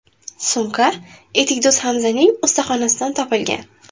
Sumka etikdo‘z Hamzaning ustaxonasidan topilgan.